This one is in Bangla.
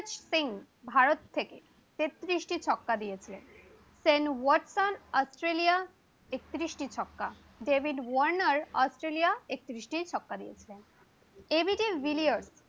যুবরাজ সিং ভারত থেকে একত্রিশ টি ছক্কা দিয়েছিলেন, শেন ওয়াটসন অস্ট্রেলিয়া একত্রিশটি ছক্কা, ডেভিড ওয়ার্নার অস্ট্রেলিয়া একত্রিশ টি ছক্কা দিয়েছিলেন, এবিডি বিলিয়র